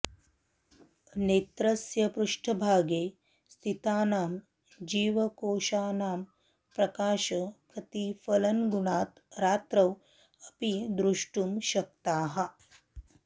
नेत्रस्य पृष्ठभागे स्थितानां जीवकोशानां प्रकाशप्रतिफलनगुणात् रात्रौ अपि दृष्टुं शक्ताः